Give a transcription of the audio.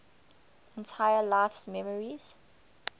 entire life's memories